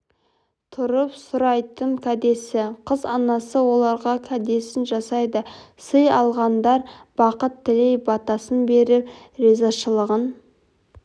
тұрып сұрайтын кәдесі қыз анасы оларға кәдесін жасайды сый алғандар бақыт тілей батасын беріп ризашылығын